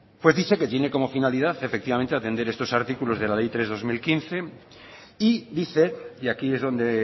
pues dice que tiene como finalidad efectivamente atender estos artículos de la ley tres barra dos mil quince y dice y aquí es donde